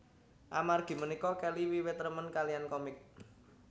Amargi punika Kelly wiwit remen kaliyan komik